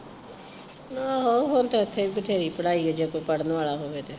ਆਹੋ ਹੁਣ ਤੇ ਏਥੇ ਵੀ ਬਥੇਰੀ ਪੜ੍ਹਾਈ ਜੇ ਕੋਈ ਪੜ੍ਹਨ ਵਾਲਾ ਹੋਵੇ ਤੇ